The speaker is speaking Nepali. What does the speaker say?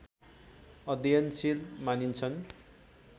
अध्ययनशील मानिन्छन्